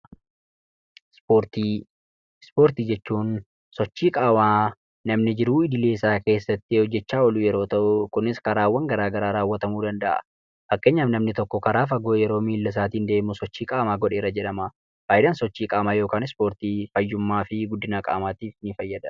Ispoortii Ispoortii jechuun sochii qaamaa namni jiruu idilee isaa keessatti hojjechaa oolu yeroo ta'u, kunis karaawwan garaagaraa raawwatamuu danda'a. Fakkeenyaaf, namni tokko karaa fagoo yeroo miila isaatiin deemu sochii qaamaa godheera jedhama. Faayidaan sochii qaamaa (ispoortii) fayyummaa fi guddina qaamaatiif ni fayyada.